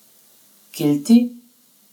Kilti?